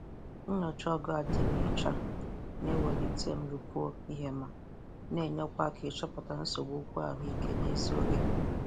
Nyocha ogo adimọcha na- ewulite nrụpụa ihema.na-enyekwa aka ichọpụta nsogbu okwu ahụ ike n'ezi oge.